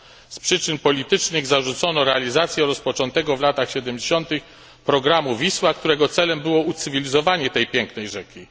Z przyczyn politycznych zarzucono realizację rozpoczętego w latach 70tych programu Wisła, którego celem było ucywilizowanie tej pięknej rzeki.